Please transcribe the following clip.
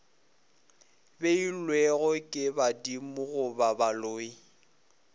beilwego ke badimo goba baloi